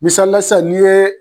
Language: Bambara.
Misalila san n'i ye